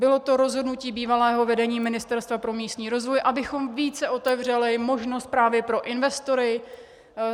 Bylo to rozhodnutí bývalého vedení Ministerstva pro místní rozvoj, abychom více otevřeli možnost právě pro investory.